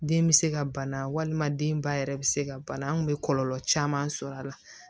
Den bɛ se ka bana walima den ba yɛrɛ bɛ se ka bana an kun bɛ kɔlɔlɔ caman sɔrɔ a la